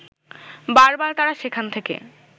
বার বার তারা সেখান থেকে